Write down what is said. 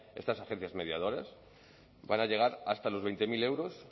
estas agencias mediadoras van a llegar hasta los veinte mil euros